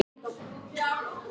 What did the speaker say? Ég skil hvað þeir eiga við.